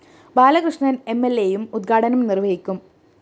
ബാലകൃഷ്ണന്‍ എംഎല്‍എയും ഉദ്ഘാടനം നിര്‍വഹിക്കും